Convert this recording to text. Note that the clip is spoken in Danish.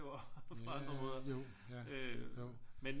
På andre måder øh men